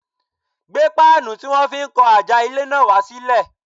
Gbé páànù tí wọ́n fi ń kan àjà ilé náà wá sílẹ̀.